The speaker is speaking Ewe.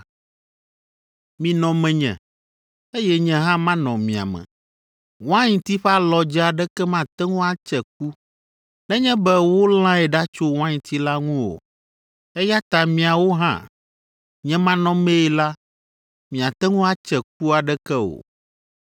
Minɔ menye, eye nye hã manɔ mia me. Wainti ƒe alɔdze aɖeke mate ŋu atse ku nenye be wolãe ɖa tso wainti la ŋu o, eya ta miawo hã, nye manɔmee la, miate ŋu atse ku aɖeke o.